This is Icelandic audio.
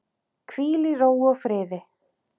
Hvíl í ró og friði.